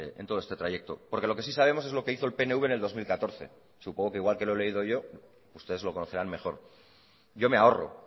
en todo este trayecto porque lo que si sabemos es lo que hizo el pnv en el dos mil catorce supongo que igual que lo he leído yo ustedes lo conocerán mejor yo me ahorro